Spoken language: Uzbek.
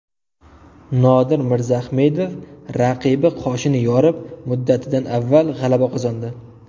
Nodir Mirzaahmedov raqibi qoshini yorib, muddatidan avval g‘alaba qozondi.